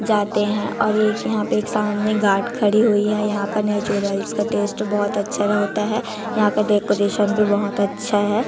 जाते है और एक यहाँ पे एक सामने गार्ड खड़ी हुई है यहाँ का नेचुरलाइज का टेस्ट बहोत अच्छा होता है यहाँ का डेकोरेशन भी बहोत अच्छा है।